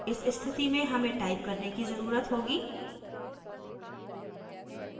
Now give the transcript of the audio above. इस स्थिति में हमें type करने की ज़रुरत होगी: